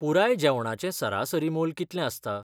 पुराय जेवणाचें सरासरी मोल कि तलें आसता?